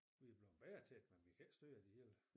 Vi er bleven bedre til det men vi kan ikke styre det hele